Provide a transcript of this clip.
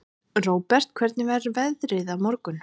Róbert, hvernig verður veðrið á morgun?